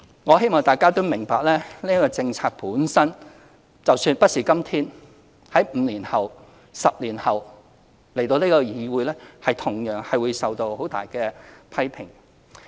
我希望大家明白，即使我們不是在今天，而是在5年後、10年後向議會提出這項政策，我們同樣會受到很大的批評。